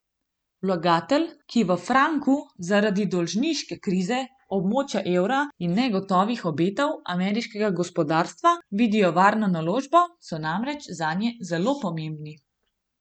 Vlagatelji, ki v franku zaradi dolžniške krize območja evra in negotovih obetov ameriškega gospodarstva vidijo varno naložbo, so namreč zanje zelo pomembni.